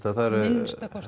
það eru